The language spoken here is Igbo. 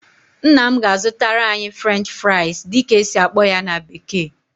Nna m ga-azụtara anyị "French fries" dịka esi akpọ ya na bekee